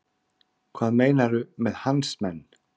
Hvað meinarðu með hans menn?